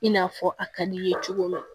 I n'a fɔ a ka d'i ye cogo min na